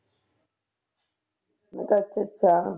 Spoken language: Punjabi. ਮੈਂ ਕਿਹਾ ਅੱਛਾ ਅੱਛਾ।